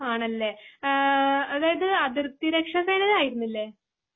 ആണല്ലേ? ആ അതായതു അതിർത്തി രെക്ഷ സേനയിലായിരുന്നില്ലേ ?